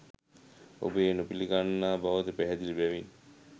ඔබ ඒ නොපිළිගන්නා බවද පැහැදිලි බැවින්